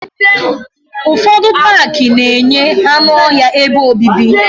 Ufodu Pááki na-enye anụ ọhịa ebe obibi